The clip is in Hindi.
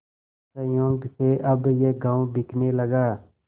संयोग से अब यह गॉँव बिकने लगा